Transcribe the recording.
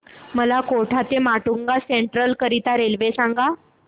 मला कोटा ते माटुंगा सेंट्रल करीता रेल्वे सांगा